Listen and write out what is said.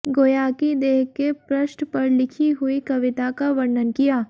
गोयाकि देह के पृष्ठ पर लिखी हुई कविता का वर्णन किया